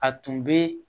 A tun bɛ